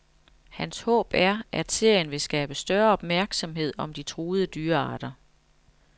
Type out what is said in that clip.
Hans håb er, at serien vil skabe større opmærksomhed om de truede dyrearter.